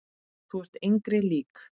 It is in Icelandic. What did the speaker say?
Þú ert engri lík.